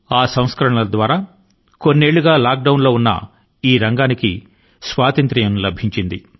ఈ సంస్కరణ ల ద్వారా ఏళ్ల తరబడి లాక్ డౌన్ స్థితి లో ఉంటూ వచ్చిన రంగాని కి విముక్తి ని ఇవ్వడం జరిగింది